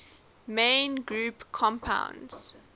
main group compounds